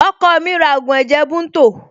Ọkọ mi ra ògùn ẹ̀jẹ̀ bunto